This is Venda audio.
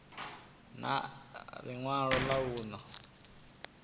na ḽi ṅwalo ḽa vhuṋe